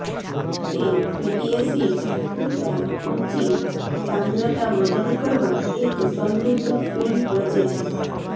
તે fatty acids પુરતા ઊંચી સાંદ્રતા મદદ કરવા એક સમૃદ્ધ ફીણ રચે છે